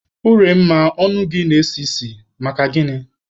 Uremma, ọnụ gị na-esi isi, maka gịnị?